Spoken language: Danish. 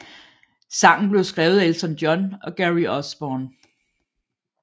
Sangen blev skrevet af Elton John og Gary Osborne